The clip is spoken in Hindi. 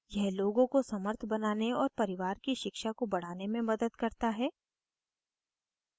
यह लोगों को समर्थ बनाने और परिवार की शिक्षा को बढ़ाने में मदद करता है